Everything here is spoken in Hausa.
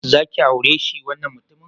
Za ki aure si wannan mutumin?